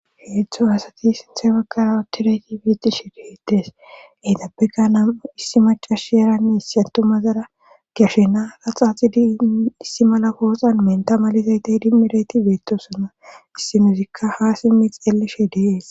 heedzdzu asati sinthe bakkara otirayti beettishe deetees eetappeka nam7u issi macash eranni issi atu mazara gashena raxaaxidi issi mala pooxan menta malizaytey dimmirayti beettosana issimuzikka ha simmi xelishe de'es